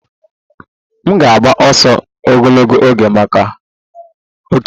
M ga-agba ọsọ ogologo oge maka otu m